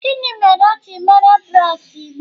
Gịnị mere o ji meere gị braids igbe?